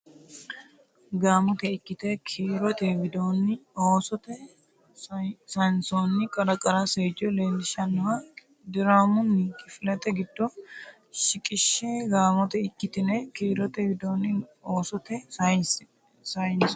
Gaamote ikkitine kiirote widoonni oosote sayinsoonni qara qara seejjo leellishannoha diraamunni kifilete giddo shiqishshe Gaamote ikkitine kiirote widoonni oosote sayinsoonni.